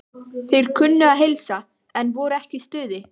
Þeir kunnu að heilsa, en voru ekki í stuði.